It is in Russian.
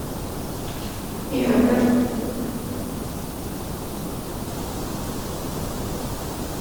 виагра